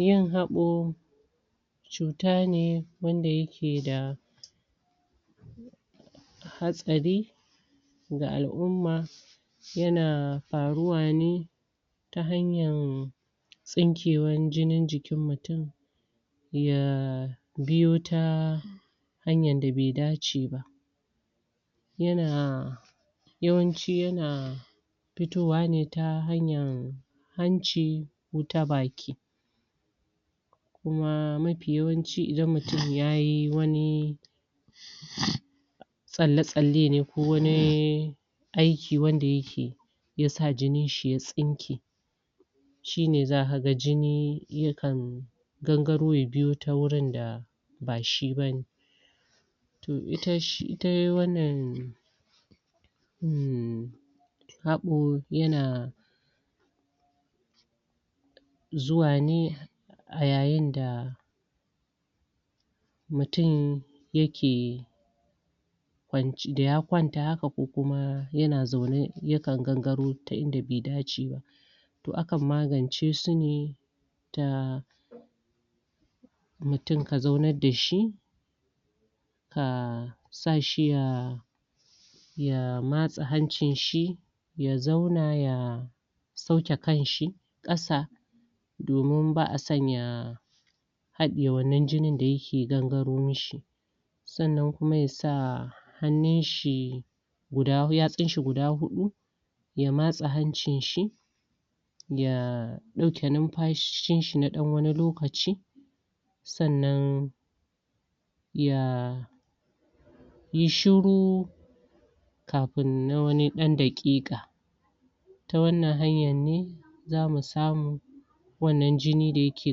yin habo cuta ne wanda ya ke da hatsari ga al'uma ya na faruwa ne ta hanyan tsinkewa jinin jikin mutum ya biyo ta hanyan da bai dace ba ya biyo ta hanyan da bai dace ba yana yawanci yana fitowa ne ta hanyan hanci wuta baki kuma mafiyawanci idan mutum ya yi wani? tsale tsale ne ko wani aiki wanda yake ya sa jinin shi ya tsinke shi ne za ka ga jini ya kan gangaro ya biyota wurin da ha shi ba ne ita wannan hmmm habo a zuwa ne a yayin da mutum ya ke kwanci da ya kwanta haka ko kuma yana zaune yakan gangaro ta ida bai dace ba toh akan magance su ne da mutum ka zauna da shi a sa shi a ya matsa hancin shi ya zauna ya sauke kanshi kasa domin ba'a so ya hade wannan jinin daya ke gangaro mishi sannan kuma ya sa hannun shi yatsin shi guda hudu ya matsa hancin shi ya dauke numfashin shina dan wani lokaci sannan ya yi shuru kafin nan wani dandakeka ta wannan hanya ne za mu samu wannan jinin da ya ke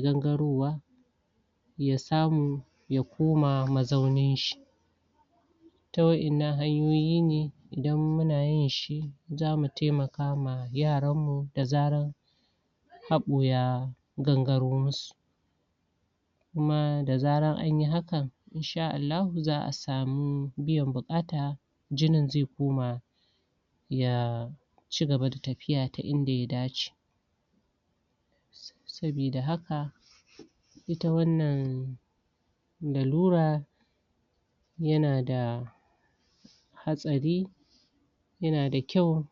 gangarowa ya samu ya koma mazaunin shi ta wayannan hanyoyi ne dan muna yin shi zamu taimaka ma yaran mu da zaran habo ya gangaro musu kuma da zaran a yi hakan Insha Allahu za'a samu biyan bukata jinin zai koma ya ci gaba da tafiya ta ida ya dace sobida haka ita wannan lalura ya na da hatsari ya na da kyau